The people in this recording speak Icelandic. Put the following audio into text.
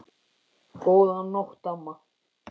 Góðan nótt, amma.